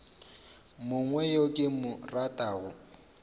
mongwe yo ke mo ratago